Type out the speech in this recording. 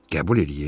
Qəbul eləyim?